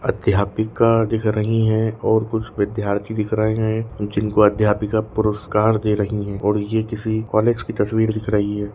अध्यापिका दिख रही है और कुछ विद्यार्थी दिख रहे है और जिनको अध्यापिका पुरस्कार दे रही है और ये किसी कॉलेज की तस्वीर दिख रही है।